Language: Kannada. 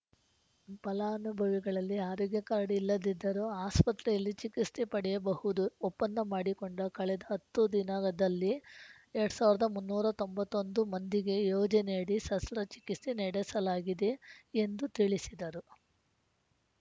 ಫಲಾನುಭವಿಗಳಲ್ಲಿ ಆರೋಗ್ಯ ಕಾರ್ಡ್‌ ಇಲ್ಲದಿದ್ದರೂ ಆಸ್ಪತ್ರೆಯಲ್ಲಿ ಚಿಕಿತ್ಸೆ ಪಡೆಯಬಹುದು ಒಪ್ಪಂದ ಮಾಡಿಕೊಂಡ ಕಳೆದ ಹತ್ತು ದಿನದಲ್ಲಿ ಎರಡು ಸಾವಿರದ ಮುನ್ನೂರ ತೊಂಬತ್ತ್ ಒಂದು ಮಂದಿಗೆ ಯೋಜನೆಯಡಿ ಸಸ್ತ್ರಚಿಕಿತ್ಸೆ ನಡೆಸಲಾಗಿದೆ ಎಂದು ತಿಳಿಸಿದರು